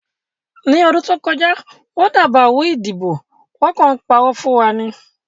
Ní ọdún tó kọjá, wọ́n dàbàrú ìdìbò, wọ́n kàn ń parọ́ fún wa ni